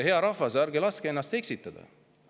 Hea rahvas, ärge laske ennast eksitada!